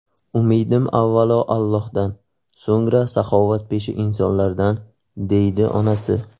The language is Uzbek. Umidim avvalo Allohdan, so‘ngra saxovatpesha insonlardan”, deydi onasi.